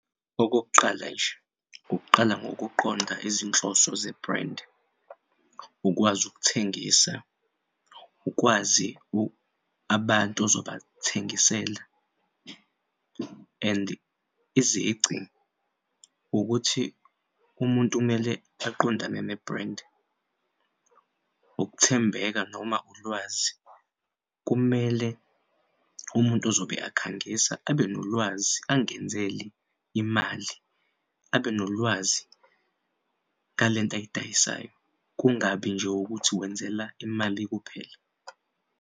Okokuqala nje ukuqala ngokuqonda izinhloso ze-brand, ukwazi ukuthengisa, ukwazi abantu ozobathengisela and izici ukuthi umuntu kumele aqondane ne-brand, ukuthembeka noma ulwazi. Kumele umuntu ozobe akhangisa abenolwazi angenzel'imali abe nolwazi ngalento ayidayisayo kungabi nje ukuthi wenzela imali kuphela.